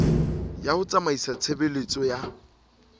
ya ho tsamaisa tshebeletso ya